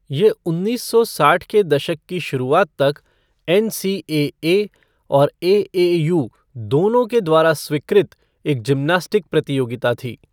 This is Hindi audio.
ये उन्नीस सौ साठ के दशक की शुरुआत तक एनसीएए और एएयू दोनों के द्वारा स्वीकृत एक जिम्नास्टिक प्रतियोगिता थी।